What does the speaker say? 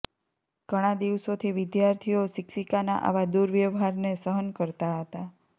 ઘણા દિવસોથી વિદ્યાર્થીઓ શિક્ષિકાના આવા દુર્વ્યવહારને સહન કરતા હતા